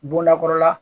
Bondakɔrɔ la